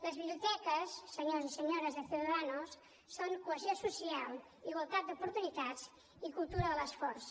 les biblioteques senyors i senyores de ciudadanos són cohesió social igualtat d’oportunitats i cultura de l’esforç